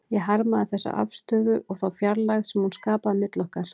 Ég harmaði þessa afstöðu og þá fjarlægð sem hún skapaði milli okkar.